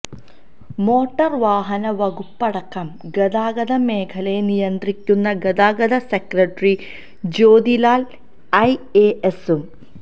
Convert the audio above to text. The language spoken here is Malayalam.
മോട്ടോര് വാഹന വകുപ്പടക്കം ഗതാഗത മേഖലയെ നിയന്ത്രിക്കുന്നത് ഗതാഗത സെക്രട്ടറി ജ്യോതിലാല് ഐഎഎസും